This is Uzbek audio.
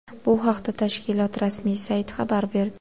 Bu haqda tashkilot rasmiy sayti xabar berdi .